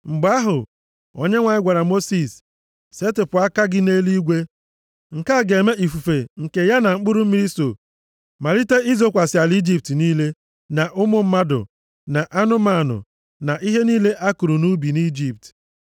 Mgbe ahụ, Onyenwe anyị gwara Mosis, “Setịpụ aka gị nʼeluigwe. Nke a ga-eme ifufe nke ya na mkpụrụ mmiri so malite izokwasị ala Ijipt niile, na ụmụ mmadụ, na anụmanụ, na ihe niile a kụrụ nʼubi nʼIjipt.”